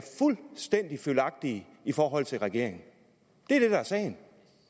fuldstændig følgagtige i forhold til regeringen det er det der er sagen